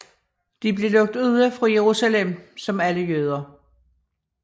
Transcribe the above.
De blev lukket ude fra Jerusalem som alle jøder